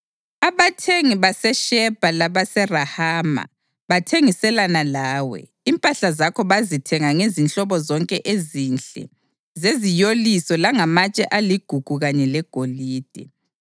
Abathengi baseShebha labaseRahama bathengiselana lawe; impahla zakho bazithenga ngezinhlobo zonke ezinhle zeziyoliso langamatshe aligugu kanye legolide.